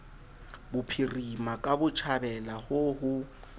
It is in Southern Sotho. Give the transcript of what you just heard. bophirima ka botjhabela ho ho